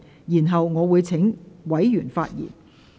然後，我會請委員發言。